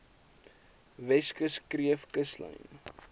weskus kreef kuslyn